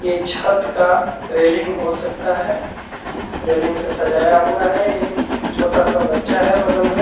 ये छत का रेलिंग हो सकता है रेलिंग पे सजाया हुआ है एक छोटा सा बच्चा है बगल में।